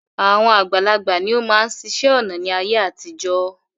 Àwọn àgbàlagbà ni ó máa ń ṣiṣẹ́ ọnà ni ayé àtijọ́